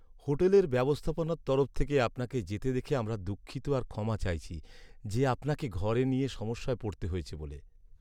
Hotel ব্যবস্থাপনার তরফ থেকে আপনাকে যেতে দেখে আমরা দুঃখিত আর ক্ষমা চাইছি যে আপনাকে ঘর নিয়ে সমস্যায় পড়তে হয়েছে বলে।